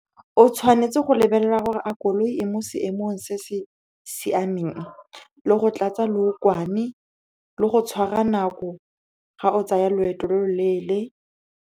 O tshwanetse go lebelela gore a koloi e mo seemong se se siameng, le go tlatsa leokwane, le go tshwara nako ga o tsaya loeto lo lo leele.